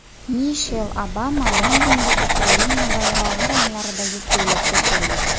Mishel Obama Londonga Ukraina bayrog‘i ranglaridagi ko‘ylakda keldi.